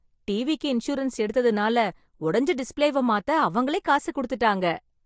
டிவிக்கு இன்சூரன்ஸ் எடுத்தனால, உடைஞ்ச டிஸ்ப்ளேவ மாத்த அவங்களே காசு கொடுத்துட்டாங்க.